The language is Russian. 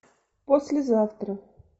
послезавтра